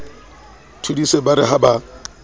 thodise ba re ha ba